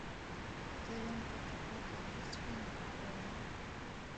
в твоем каталоге есть фильм хлоя